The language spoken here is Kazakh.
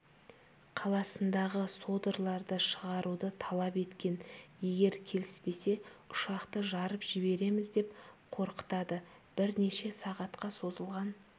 қаласындағы содырларды шығаруды талап еткен егер келіспесе ұшақты жарып жібереміз деп қорқытады бірнеше сағатқа созылған